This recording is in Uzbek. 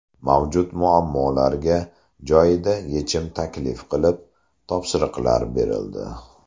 Mavjud muammolarga joyida yechim taklif qilib, topshiriqlar berildi.